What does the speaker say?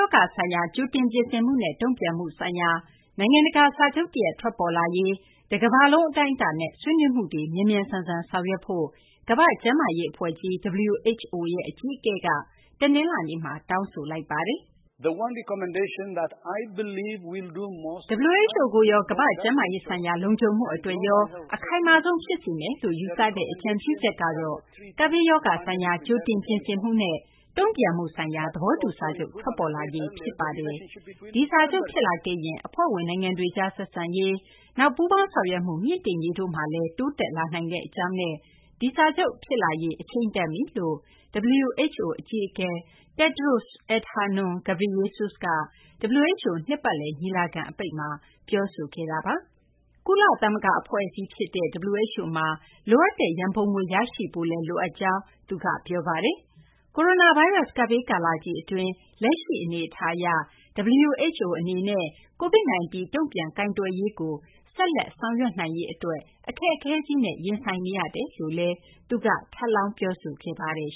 ောဂါ ဆိုင်ရာ ကြိုတင်ပြင်ဆင်မှုနဲ့ တုံ့ပြန်မှုဆိုင်ရာ နိုင်ငံတကာ စာချုပ်တရပ် ထွက်ပေါ်လာရေး တကမ္ဘာလုံး အတိုင်းအတာနဲ့ ဆွေးနွေးမှုတွေ မြန်မြန်ဆန်ဆန် ဆောင်ရွက်ဖို့ ကမ္ဘာ့ကျန်းမာရေး အဖွဲ့ကြီး WHO ရဲ့ အကြီးအကဲက တနလာၤနေ့မှာ တောင်းဆိုလိုက်ပါတယ်။ "WHO ကိုရော ကမ္ဘာ့ကျန်းမာရေး ဆိုင်ရာ လုံခြုံမှု အတွက်ရော အခိုင်မာဆုံး ဖြစ်စေမယ်လို့ ယူဆတဲ့ အကြံပြုချက်ကတော့ ကပ်ဘေးရောဂါဆိုင်ရာ ကြိုတင်ပြင်ဆင်မှုနဲ့ တုံ့ပြန်မှုဆိုင်ရာ သဘောတူ စာချုပ် ထွက်ပေါ်လာရေး ဖြစ်ပါတယ်။ ဒီစာချုပ်ဖြစ်လာခဲ့ရင် အဖွဲ့ဝင် နိုင်ငံတွေကြား ဆက်ဆံရေး၊ နောက် ပူးပေါင်းဆောင်ရွက်မှု မြှင့်တင်ရေးတို့မှာလည်း တိုးတက်လာနိုင်ကြောင်းနဲ့ ဒီစာချုပ် ဖြစ်လာရေး အချိန်တန်ပြီ" လို့လည်း WHO အကြီးအကဲ Tedros Adhanom Ghebreyesus က WHO နှစ်ပတ်လည် ညီလာခံအပိတ် ဝန်ကြီးအဆင့် ဆွေးနွေးပွဲမှာ ပြောဆိုခဲ့တာပါ။ ကုလသမဂ္ဂ အဖွဲ့အစည်း တခုဖြစ်တဲ့ WHO မှာ လိုအပ်တဲ့ ရန်ပုံငွေ ရရှိဖို့လည်း လိုအပ်ကြောင်း သူက ပြောပါတယ်။ ကိုရိုနာဗိုင်းရပ်စ် ကပ်ဘေး ကာလကြီး အတွင်း လက်ရှိ အနေအထား အရ WHO အနေနဲ့ COVID-19 တုံ့ပြန်ကိုင်တွယ်ရေးကို ဆက်လက် ဆောင်ရွက်နိုင်ရေး အတွက် အခက်အခဲကြီးနဲ့ ရင်ဆိုင်နေရတယ်လို့လည်း WHO အကြီးအကဲက ထပ်လောင်း ပြောဆိုခဲ့ပါတယ်